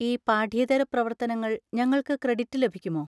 ഈ പാഠ്യേതര പ്രവർത്തനങ്ങൾ ഞങ്ങൾക്ക് ക്രെഡിറ്റ് ലഭിക്കുമോ?